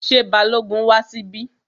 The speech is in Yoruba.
Ṣé Balógun wá síbí?